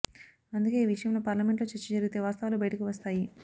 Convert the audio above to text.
అందుకే ఈ విష యంలో పార్లమెంటులో చర్చజరిగితే వాస్తవాలు బయటకు వస్తాయి